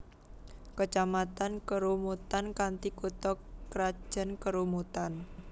Kecamatan Kerumutan kanthi kutha krajan Kerumutan